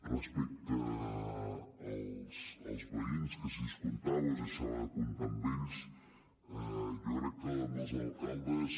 respecte als veïns que si es comptava o es deixava de comptar amb ells jo crec que amb els alcaldes